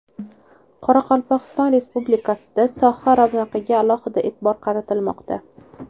Qoraqalpog‘iston Respublikasida soha ravnaqiga alohida e’tibor qaratilmoqda.